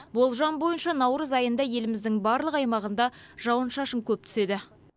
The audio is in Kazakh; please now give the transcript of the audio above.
болжам бойынша наурыз айында еліміздің барлық аймағында жауын шашын көп түседі